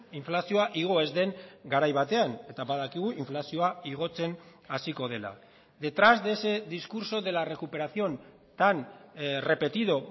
inflazioa igo ez den garai batean eta badakigu inflazioa igotzen hasiko dela detrás de ese discurso de la recuperación tan repetido